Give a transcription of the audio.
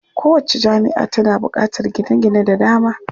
Kowacce jami'a tana buƙatar gine-gine da dama.